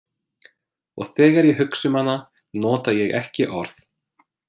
Og þegar ég hugsa um hana nota ég ekki orð.